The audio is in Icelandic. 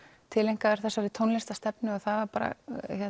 tileinkaður þessari tónlistarstefnu það var bara